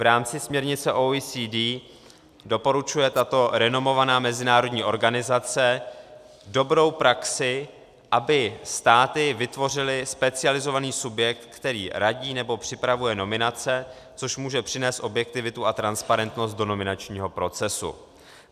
V rámci směrnice OECD doporučuje tato renomovaná mezinárodní organizace dobrou praxi, aby státy vytvořily specializovaný subjekt, který radí nebo připravuje nominace, což může přinést objektivitu a transparentnost do nominačního procesu.